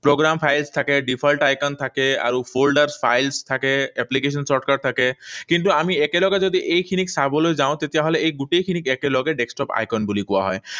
Programme files থাকে, default items থাকে আৰু folders, files, application shortcuts থাকে। কিন্তু আমি একেলগে যদি এইখিনিক চাবলৈ যাওঁ, তেতিয়াহলে এই গোটেইখিনিক একেলগে desktop icon বুলিও কোৱা হয়।